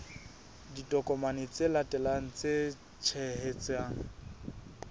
ditokomane tse latelang tse tshehetsang